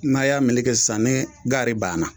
N'a y'a meleke kɛ sisan ni gaari banna